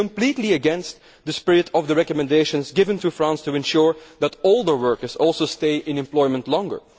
This is completely against the spirit of the recommendations given to France to ensure that all workers stay in employment longer.